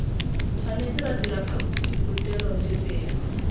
tshwanetse ra dira phaposiborutelo lefelo